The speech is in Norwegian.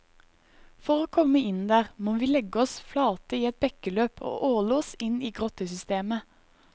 For å komme inn der, må vi legge oss flate i et bekkeløp og åle oss inn i grottesystemet.